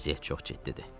Vəziyyət çox ciddidir.